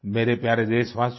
मेरे प्यारे देशवासियो